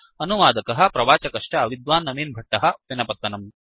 अनुवादकः प्रवाचकश्च विद्वान् नवीन् भट्टः उप्पिनपत्तनम्